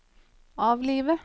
avlive